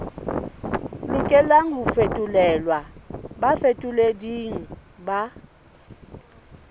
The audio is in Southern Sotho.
lokelang ho fetolelwa bafetoleding ba